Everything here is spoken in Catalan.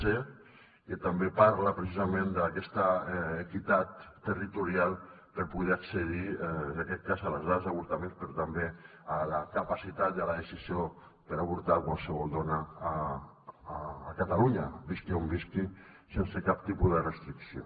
c que també parla precisament d’aquesta equitat territorial per poder accedir en aquest cas a les dades d’avortaments però també a la capacitat i a la decisió per avortar de qualsevol dona a catalunya visqui on visqui sense cap tipus de restricció